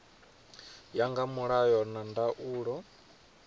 ya nga mulayo na ndaulo